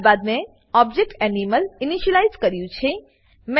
ત્યારબાદ મેં object animal initialise કર્યું છે